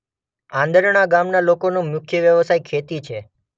આંદરણા ગામના લોકોનો મુખ્ય વ્યવસાય ખેતી